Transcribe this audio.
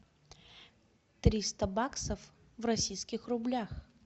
триста баксов в российских рублях